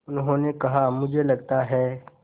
उन्होंने कहा मुझे लगता है